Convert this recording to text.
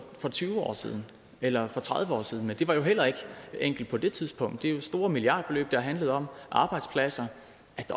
tyve år siden eller for tredive år siden men det var jo heller ikke enkelt på det tidspunkt det er jo store milliardbeløb det har handlet om arbejdspladser